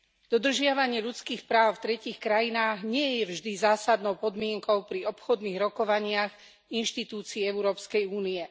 Dodržiavanie ľudských práv v tretích krajinách nie je vždy zásadnou podmienkou pri obchodných rokovaniach inštitúcii Európskej únie.